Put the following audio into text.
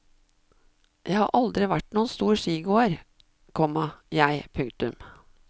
Jeg har aldri vært noen stor skigåer, komma jeg. punktum